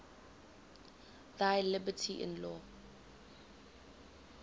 thy liberty in law